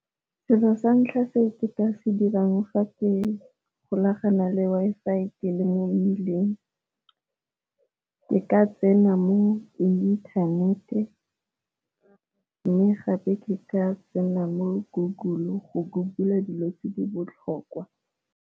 Selo sa ntlha se nka se dirang ga ke golagana le Wi-Fi ke le mo mmileng ke ka tsena mo inthanete, mme gape ke ka tsena mo Google go google-a dilo tse di botlhokwa.